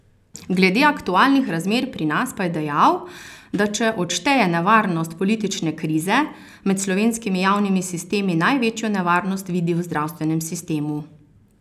Glede aktualnih razmer pri nas pa je dejal, da če odšteje nevarnost politične krize, med slovenskimi javnimi sistemi največjo nevarnost vidi v zdravstvenem sistemu.